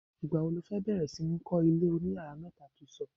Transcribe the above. Ìgbà wo lo fẹ́ bẹ̀rẹ̀ sí ní kọ́, ilé oniyàrá mẹ́ta to sọ?